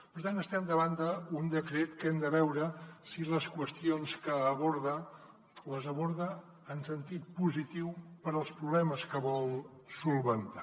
per tant estem davant d’un decret que hem de veure si les qüestions que aborda les aborda en sentit positiu per als problemes que vol solucionar